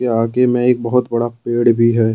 ये आगे में एक बहोत बड़ा पेड़ भी है।